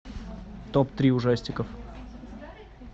топ три ужастиков